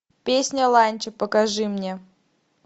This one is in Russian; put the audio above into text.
песня ланча покажи мне